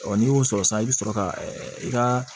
Ɔ n'i y'o sɔrɔ sisan i bɛ sɔrɔ ka i ka